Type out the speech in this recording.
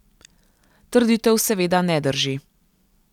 Trditev seveda ne drži.